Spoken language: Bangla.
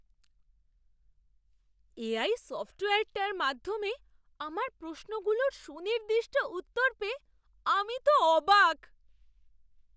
এআই সফ্টওয়্যারটার মাধ্যমে আমার প্রশ্নগুলোর সুনির্দিষ্ট উত্তর পেয়ে আমি তো অবাক!